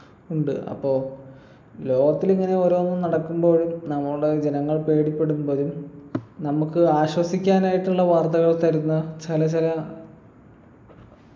ഉണ്ട് അപ്പൊ ലോകത്തിലിങ്ങനെ ഓരോന്നും നടക്കുമ്പോഴ് നമ്മുടെ ജനങ്ങൾ പേടിപ്പെടുമ്പഴും നമുക്ക് ആശ്വസിക്കാനായിട്ടുള്ള വാർത്തകൾ തരുന്ന ചില ചില